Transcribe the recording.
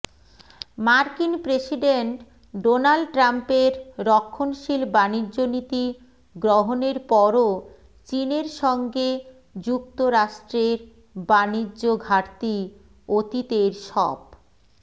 মার্কিন president Donald ট্রাম্পের রক্ষণশীল বাণিজ্যনীতি গ্রহণের পরও চীনের সঙ্গে যুক্তরাষ্ট্রের বাণিজ্য ঘাটতি অতীতের সব